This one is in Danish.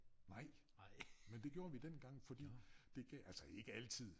Nej men det gjorde vi dengang fordi dey gav altså ikke altid